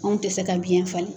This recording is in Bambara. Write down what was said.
Anw tɛ se ka biɲɛ falen.